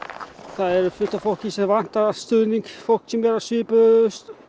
er fullt af fólki sem vantar stuðning fólk sem er í svipaðri